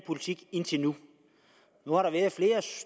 politik indtil nu